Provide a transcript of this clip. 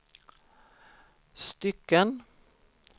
stycken